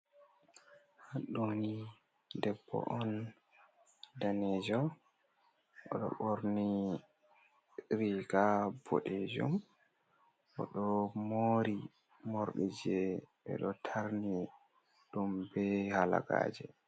Ha ɗoni debbo on danejo, odo borni riga bodejum o do mori mordi je ɓeɗo tarni ɗum be halagaje.